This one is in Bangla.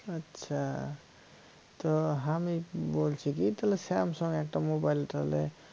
আচ্ছা তো আমি বলছি কি তাহলে samsung এর একটা mobile তাহলে